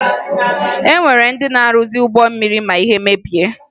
E nwere ndị na-arụzi ụgbọ mmiri ma ihe mebie